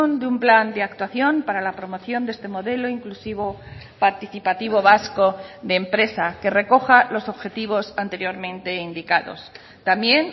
de un plan de actuación para la promoción de este modelo inclusivo participativo vasco de empresa que recoja los objetivos anteriormente indicados también